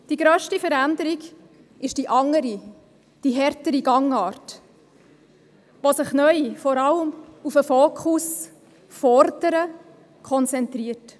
Die grösste Veränderung ist die andere, die härtere Gangart, die sich neu vor allem auf das Fordern fokussiert.